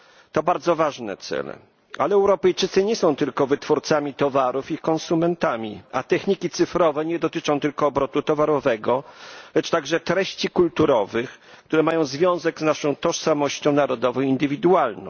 To bardzo ważne cele, ale Europejczycy nie są tylko wytwórcami towarów i konsumentami, a techniki cyfrowe nie dotyczą tylko obrotu towarowego, lecz także treści kulturowych, które mają związek z naszą tożsamością narodowo indywidualną.